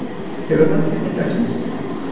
Hefur hlakkað til dagsins.